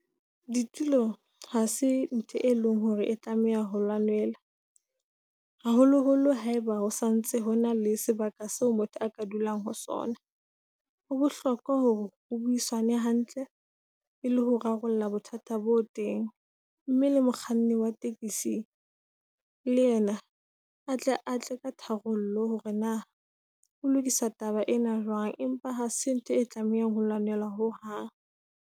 Ditulo hase ntho e leng hore e tlameha ho lwanelwa. Haholo - holo haeba ho santse hona le sebaka seo motho aka dulang ho sona. Ho bohlokwa hore ho buisanwe hantle e le ho rarolla bothata bo teng. Mme le mokganni wa taxi le yena a tle a tle ka tharollo, hore na ho lokisa taba ena jwang. Empa ha se ntho e tlamehang ho lwanelwa ho hang.